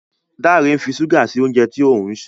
Dare ń fí ṣuga sí oúnjẹ tí òun ṣe